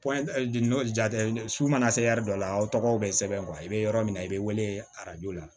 jate su mana se dɔ la aw tɔgɔw be sɛbɛn i be yɔrɔ min na i be wele arajo la